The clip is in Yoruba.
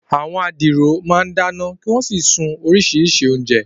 Àwọn adiro máa ń dáná kí wọ́n sì sun oríṣiríṣi oúnjẹ.